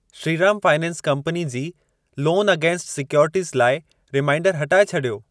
Shriram finance company जी loan against securities लाइ reminder हटाए छॾियो।